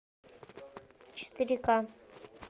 четыре ка